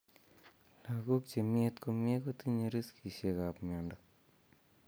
Lagook chemyet komye kotinye riskisiek ab miondo